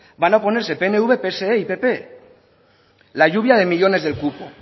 van a oponerse pnv pse y pp la lluvia de millónes del cupo